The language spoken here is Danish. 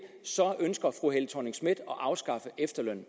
så ønsker fru helle thorning schmidt at afskaffe efterlønnen